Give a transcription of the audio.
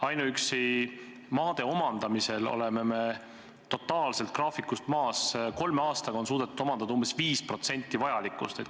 Ainuüksi maade omandamisega oleme totaalselt graafikust maas, kolme aastaga on suudetud omandada umbes 5% vajalikust.